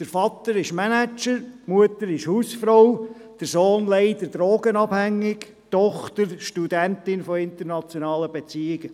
Der Vater ist Manager, die Mutter Hausfrau, der Sohn leider drogenabhängig, die Tochter Studentin von internationalen Beziehungen.